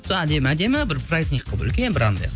сол әдемі әдемі бір праздник қылып үлкен бір анандай